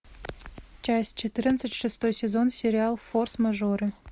часть четырнадцать шестой сезон сериал форс мажоры